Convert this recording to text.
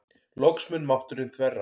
Loks mun mátturinn þverra.